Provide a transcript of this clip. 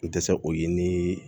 N tɛ se o ye ni